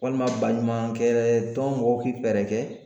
Walima baɲumankɛtɔn mɔgɔw k'i fɛɛrɛ kɛ